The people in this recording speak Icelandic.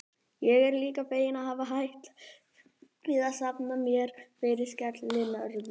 Ég er líka feginn að hafa hætt við að safna mér fyrir skellinöðru.